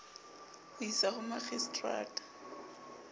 ho o isa ho makgistrata